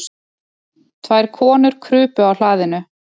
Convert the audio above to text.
Tvær konur krupu á hlaðinu.